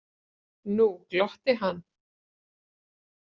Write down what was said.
Nú glotti hann.